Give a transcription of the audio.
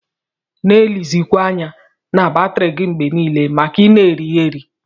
Na elizikwa anya na batri gi mgbe nile maka ina eri-eri.